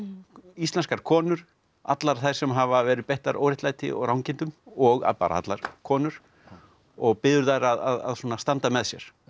íslenskar konur allar þær sem hafa verið beittar óréttlæti og rangindum og bara allar konur og biður þær að svona standa með sér